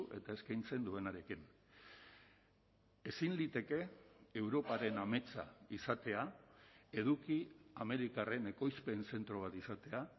eta eskaintzen duenarekin ezin liteke europaren ametsa izatea eduki amerikarren ekoizpen zentro bat izatea